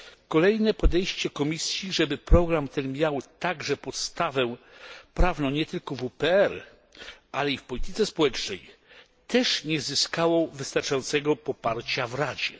Kolejne podejście Komisji, żeby program ten miał podstawę prawną nie tylko w WPR, ale także w polityce społecznej, też nie uzyskało wystarczającego poparcia w Radzie.